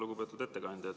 Lugupeetud ettekandja!